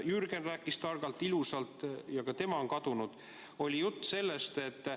Jürgen rääkis targalt ja ilusalt, ka tema on kadunud.